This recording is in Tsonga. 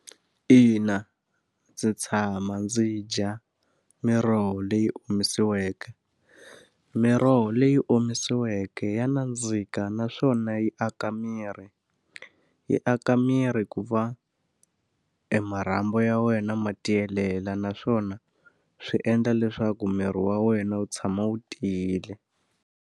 Ina, ndzi tshama ndzi dya miroho leyi omisiweke. Miroho leyi omisiweke ya nandzika naswona yi aka miri. Yi aka miri ku va emarhambu ya wena ma tiyelela naswona swi endla leswaku miri wa wena wu tshama wu tiyile.